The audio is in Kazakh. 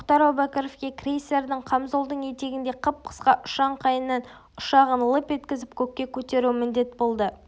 тоқтар әубәкіровке крейсердің қамзолдың етегіндей қып-қысқа ұшаңқайынан ұшағын лып еткізіп көкке көтеру міндет болды